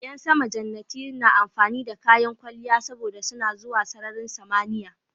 Ƴan sama jannati na amfani da kayan kwalliya saboda suna zuwa sararin samaniya